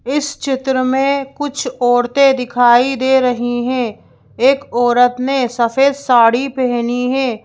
इस चित्र में कुछ औरतें दिखाई दे रही हैं एक औरत ने सफेद साड़ी पहनी है।